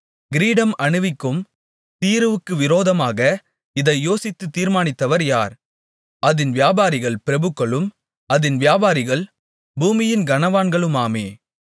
கிரீடம் அணிவிக்கும் தீருவுக்கு விரோதமாக இதை யோசித்துத் தீர்மானித்தவர் யார் அதின் வியாபாரிகள் பிரபுக்களும் அதின் வியாபாரிகள் பூமியின் கனவான்களுமாமே